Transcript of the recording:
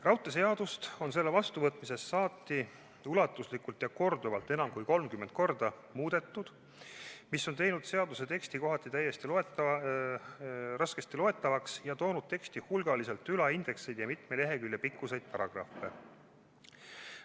Raudteeseadust on selle vastuvõtmisest saati ulatuslikult ja korduvalt, enam kui 30 korda muudetud, mis on teinud seaduse teksti kohati raskesti loetavaks ja toonud teksti hulgaliselt ülaindekseid ja mitme lehekülje pikkuseid paragrahve.